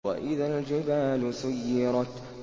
وَإِذَا الْجِبَالُ سُيِّرَتْ